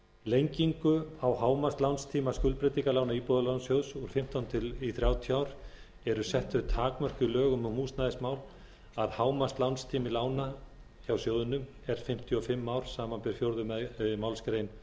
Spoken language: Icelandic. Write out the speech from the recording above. lengingu á hámarkslánstíma skuldbreytingarlána íbúðalánasjóðs úr fimmtán í þrjátíu ár eru sett þau takmörk í lögum um húsnæðismál að hámarkslánstími lána hjá sjóðnum er fimmtíu og fimm ár samanber fjórðu málsgrein